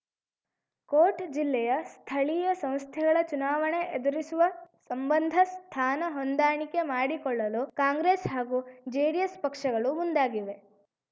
coat ಜಿಲ್ಲೆಯ ಸ್ಥಳೀಯ ಸಂಸ್ಥೆಗಳ ಚುನಾವಣೆ ಎದುರಿಸುವ ಸಂಬಂಧ ಸ್ಥಾನ ಹೊಂದಾಣಿಕೆ ಮಾಡಿಕೊಳ್ಳಲು ಕಾಂಗ್ರೆಸ್‌ ಹಾಗೂ ಜೆಡಿಎಸ್‌ ಪಕ್ಷಗಳು ಮುಂದಾಗಿವೆ